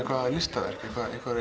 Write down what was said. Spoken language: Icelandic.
listaverk eða